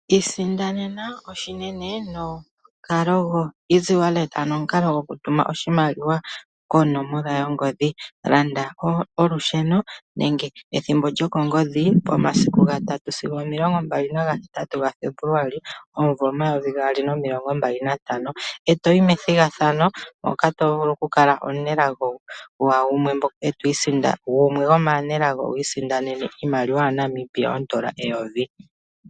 Isindanena oshinene nomukalo gokutuma oshimaliwa konomola yongodhi gwaBank Windhoek. Landa olusheno nenge ethimbo lyokongodhi momasiku ga 5 sigo 28 Febuluali 2025, e to yi methigathano moka to vulu oku kala omusindani omunelago, wu isindanene N$ 1000.